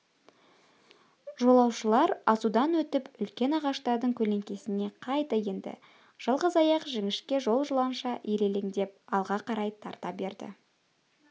жолаушылар асудан өтіп үлкен ағаштардың көлеңкесіне қайта енді жалғыз аяқ жіңішке жол жыланша ирелеңдеп алға қарай тарта берді